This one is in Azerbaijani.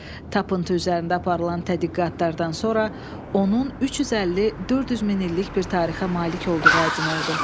Tapıntı üzərində aparılan tədqiqatlardan sonra onun 350-400 min illik bir tarixə malik olduğu aydın oldu.